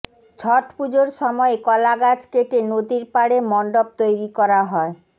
ছটপুজোর সময়ে কলা গাছ কেটে নদীর পাড়ে মণ্ডপ তৈরি করা হয়